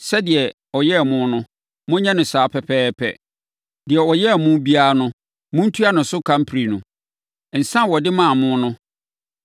Sɛdeɛ ɔyɛɛ mo no, monyɛ no saa pɛpɛɛpɛ; deɛ ɔyɛɛ mo biara no, montua ne so ka mprenu. Nsa a ɔde maa mo no, monhyɛ no deɛ ano yɛ den mmɔho mmienu.